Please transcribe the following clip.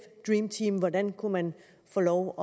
dreamteam hvordan kunne man få lov